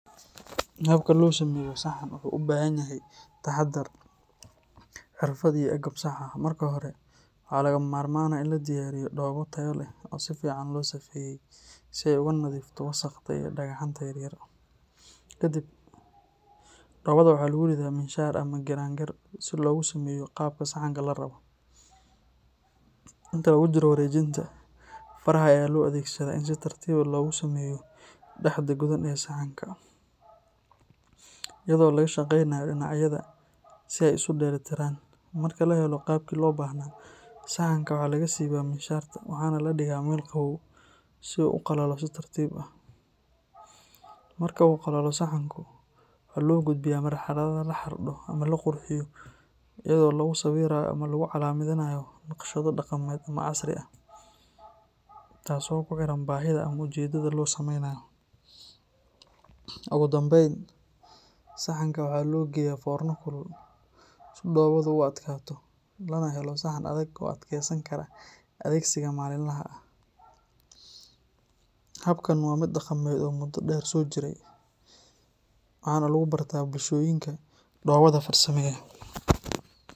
Habka loo sameeyo saxan wuxuu u baahan yahay taxadar, xirfad iyo agab sax ah. Marka hore, waxaa lagama maarmaan ah in la diyaariyo dhoobo tayo leh oo si fiican loo safeeyey si ay uga nadiifto wasakhda iyo dhagaxaanta yaryar. Kadib, dhoobada waxaa lagu riddaa miinshaar ama giraangir si loogu sameeyo qaabka saxanka la rabo. Inta lagu jiro wareejinta, faraha ayaa loo adeegsadaa in si tartiib ah loogu sameeyo dhexda godan ee saxanka, iyadoo laga shaqeynayo dhinacyada si ay isu dheellitiraan. Marka la helo qaabkii loo baahnaa, saxanka waxaa laga siibaa miinshaarta waxaana la dhigaa meel qabow si uu u qalalo si tartiib ah. Marka uu qalalo saxanku, waxaa loo gudbiyaa marxaladda la xardho ama la qurxiyo iyadoo lagu sawirayo ama lagu calaamadinayo naqshado dhaqameed ama casri ah, taasoo ku xiran baahida ama ujeedada loo samaynayo. Ugu dambayn, saxanka waxaa loo geliyaa foorno kulul si dhoobadu u adkaato, lana helo saxan adag oo adkeysan kara adeegsiga maalinlaha ah. Habkan waa mid dhaqameed oo muddo dheer soo jiray, waxaana lagu bartaa bulshooyinka dhoobada farsameeya.